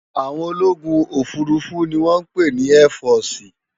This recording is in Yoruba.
Áwòn ólógún ófúrúfú ni wòn pé ni èfòsi